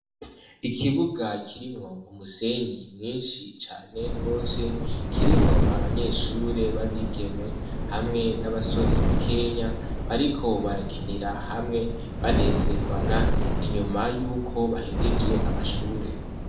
Ikibuga kirimwo umusenyi mwinshi cane gose kirimwo abanyeshure babigeme hamwe n'abasore ba kenya bariko barakinira hamwe banezerwana inyuma yuko bahejeje amashure.